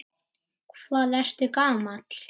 Hvað ertu gamall?